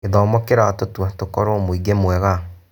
Gĩthomo kĩratũtua tũkorwo mũingĩ mwega